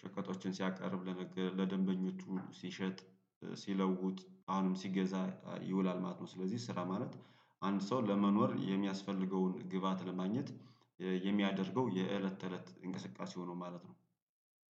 ሸቀጦችን ሲያቀርብ ለደንበኞቹ ሲሸጥ ሲለውጥ አሁንም ሲገዛ ይውላል ማለት ነው። ስለዚህ ስራ ማለት አንድ ሰው ለመኖር የሚያስፈልገውን ግብአት ለማግኘት። የሚያደርገው የእለት ተእለት እንቅስቃሴው ነው ማለት ነው